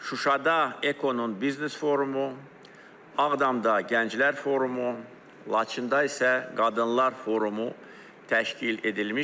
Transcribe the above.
Şuşada Ekonun biznes forumu, Ağdamda gənclər forumu, Laçında isə qadınlar forumu təşkil edilmişdir.